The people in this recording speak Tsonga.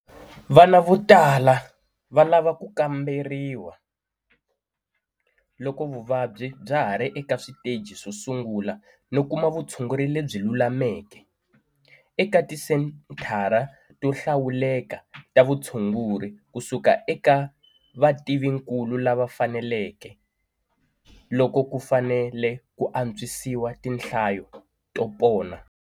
Vana vo tala va lava ku kamberiwa loko vuvabyi bya ha ri eka switeji swo sungula no kuma vutshunguri lebyi lulameke - eka tisenthara to hlawuleka ta vutshunguri ku suka eka vativinkulu lava faneleke - loko ku fanele ku atswisiwa tinhlayo to pona.